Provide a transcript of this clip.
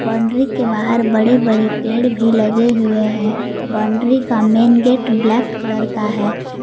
Boundary के बाहर बड़े बड़े पेड़ भी लगे हुए हैं बाउंड्री का मेंन गेट ब्लैक कलर का है।